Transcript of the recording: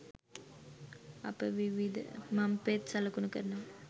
අපට විවිධ මං පෙත් සලකුණු කරනවා.